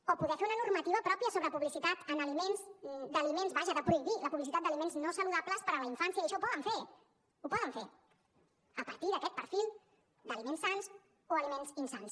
o poden fer una normativa pròpia sobre publicitat d’aliments vaja de prohibir la publicitat d’aliments no saludables per a la infància i això ho poden fer ho poden fer a partir d’aquest perfil d’aliments sans o aliments insans